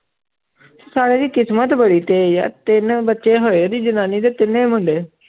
ਸਾਲੇ ਦੀ ਕਿਸਮਤ ਬੜੀ ਤੇਜ਼ ਆ ਤਿੰਨ ਬੱਚੇ ਹੋਏ ਉਹਦੀ ਜਨਾਨੀ ਦੇ ਤਿੰਨੇ ਮੁੰਡੇ।